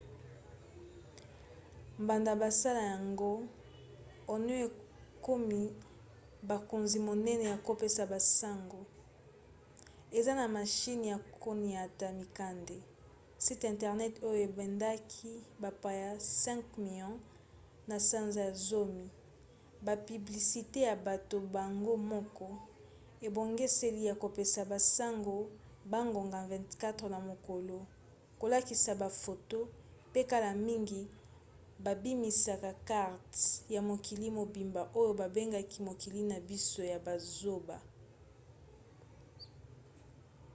banda basala yango onion ekomi bokonzi monene ya kopesa basango eza na mashine ya koniata mikanda site internet oyo ebendaki bapaya 5 000 000 na sanza ya zomi bapiblisite ya bato bango moko ebongiseli ya kopesa basango bangonga 24 na mokolo kolakisa bafoto pe kala mingi babimisaki karte ya mokili mobimba oyo babengi mokili na biso ya bozoba